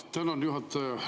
Tänan, juhataja!